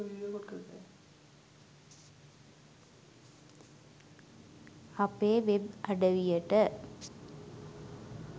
අපේ වෙබ් අඩවියට